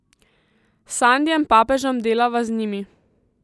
S Sandijem Papežem delava z njimi.